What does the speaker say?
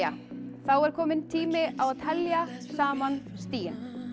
þá er kominn tími á að telja saman stigin